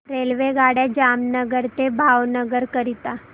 रेल्वेगाड्या जामनगर ते भावनगर करीता